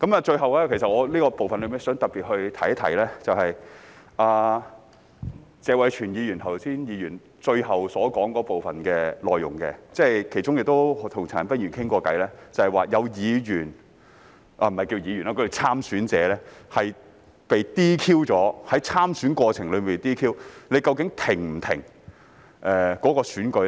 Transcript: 最後，我在這部分想特別提出的，是謝偉銓議員剛才最後發言的部分內容，是我亦曾與陳恒鑌議員討論過的，即倘若有參選者在參選過程中被 "DQ"， 究竟應否停止選舉？